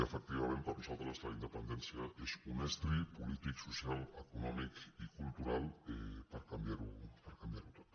efectivament per nosaltres la independèn·cia és un estri polític social econòmic i cultural per canviar·ho tot